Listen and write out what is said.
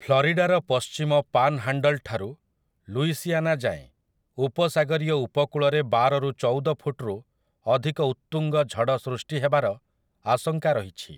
ଫ୍ଲରିଡାର ପଶ୍ଚିମ ପାନ୍‌ହାଣ୍ଡଲ୍ ଠାରୁ ଲୁଇସିଆନା ଯାଏଁ ଉପସାଗରୀୟ ଉପକୂଳରେ ବାର ରୁ ଚଉଦ ଫୁଟରୁ ଅଧିକ ଉତ୍ତୁଙ୍ଗ ଝଡ଼ ସୃଷ୍ଟି ହେବାର ଆଶଙ୍କା ରହିଛି ।